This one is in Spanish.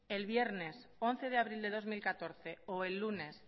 el viernes once de abril de dos mil catorce o el lunes